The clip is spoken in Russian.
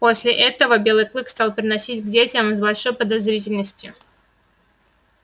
после этого белый клык стал приносить к детям с большой подозрительностью